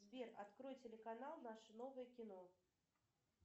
сбер открой телеканал наше новое кино